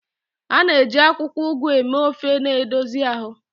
A na-eji akwụkwọ Ugu eme ofe na-edozi ahụ.